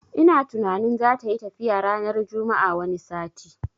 Ina tunanin zatayi tafiya ranar juma'ar wani sati